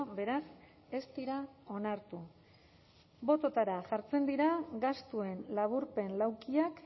beraz ez dira onartu bototara jartzen dira gastuen laburpen laukiak